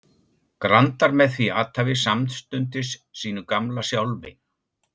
grandar með því athæfi samstundis sínu gamla sjálfi.